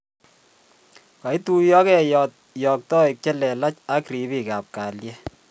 kaituiyokei yoktoik chelelach ak rip ab kalyet